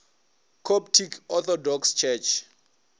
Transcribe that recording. coptic orthodox church